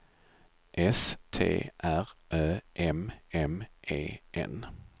S T R Ö M M E N